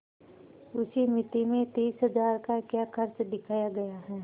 उस मिती में तीस हजार का क्या खर्च दिखाया गया है